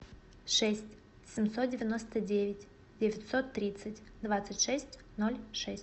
шесть семьсот девяносто девять девятьсот тридцать двадцать шесть ноль шесть